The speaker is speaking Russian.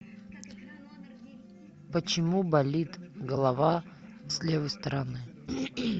почему болит голова с левой стороны